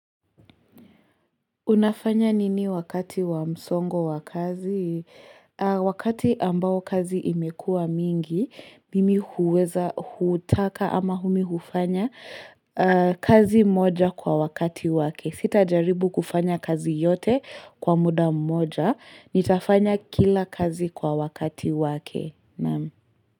Unafanya nini wakati wa msongo wa kazi? Wakati ambao kazi imekua mingi, mimi huweza hutaka ama mimi hufanya kazi moja kwa wakati wake. Sitajaribu kufanya kazi yote kwa muda mmoja. Nitafanya kila kazi kwa wakati wake.